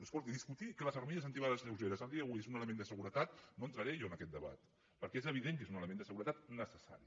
escolti discutir que les armilles antibales lleugeres a dia d’avui són un element de seguretat no entraré jo en aquest debat perquè és evident que són un element de seguretat necessari